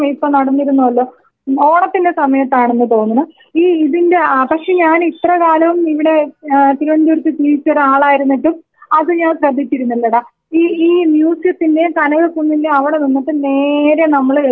ഉം ഓണത്തിന്റെ സമയത്തായിരുന്നെന്ന് തോന്നുന്നു ഈ ഇതിന്റെ ആ പക്ഷേ ഞാനിത്ര കാലം ഇവിടെ ഏ തിരുവനന്തപുരത്ത് ജീവിച്ചൊരാളായിരുന്നിട്ടും അത് ഞാൻ ശ്രദ്ധിച്ചിരുന്നില്ലെടാ ഈ മ്യൂസിയത്തിന്റേം കനകക്കുന്നിന്റേം അവിടെ നിന്നിട്ട് നേരെ നമ്മള് എതിർവശത്തേക്ക് നോക്കുമ്പം.